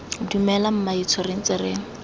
dumela mmaetsho re ntse re